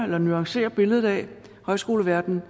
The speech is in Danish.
at nuancere billedet af højskoleverdenen